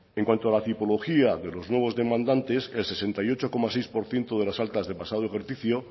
en cuanto a la tipología de los nuevos demandantes el sesenta y ocho coma seis por ciento de las altas del pasado ejercicio